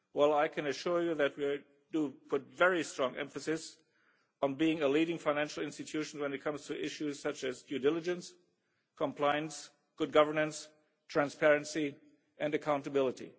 I can assure you that we put very strong emphasis on being a leading financial institution when it comes to issues such as due diligence, compliance, good governance, transparency and accountability.